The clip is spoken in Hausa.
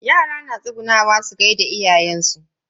Yara na tsugunnawa su gaida iyayen su.